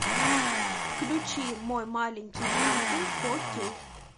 включи мой маленький ангел фо кей